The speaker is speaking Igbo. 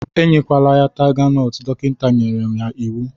Enyekwana ya taiga nọt, dọkịta nyere ya n'iwu!